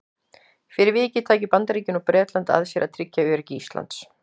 Fyrir vikið tækju Bandaríkin og Bretland að sér að tryggja öryggi Íslands.